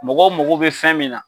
Mɔgɔw mago bɛ fɛn min na.